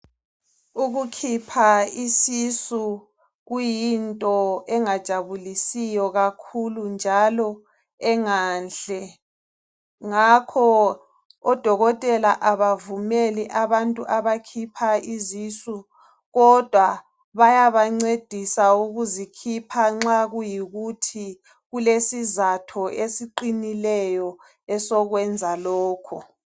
Ukukhipha isisu kuyinto engajabulisiyo kakhulu njalo enganhle ngakho odokotela abavumeli abantu abakhipha izisu kodwa bayabancedisa ukuzikhipha nxa kuyikuthi kulesizatho esiqinileyo esokwenza lokho.